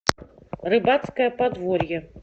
рыбацкое подворье